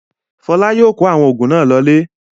Fọlá yóò kó àwọn oògùn náà lọlé.